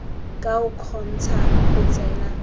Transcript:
ka o kgontsha go tsena